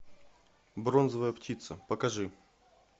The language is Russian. бронзовая птица покажи